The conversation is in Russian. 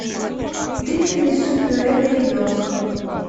тыквенный суп пюре для ребенка